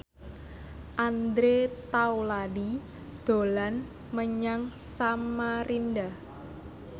Andre Taulany dolan menyang Samarinda